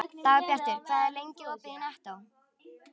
Dagbjartur, hvað er lengi opið í Nettó?